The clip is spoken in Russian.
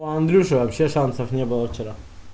у андрюши вообще шансов не было вчера